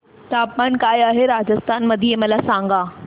तापमान काय आहे राजस्थान मध्ये मला सांगा